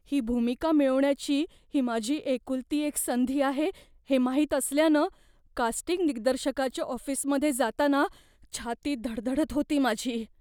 ही भूमिका मिळवण्याची ही माझी एकुलती एक संधी आहे हे माहित असल्यानं कास्टिंग दिग्दर्शकाच्या ऑफिसमध्ये जाताना छाती धडधडत होती माझी.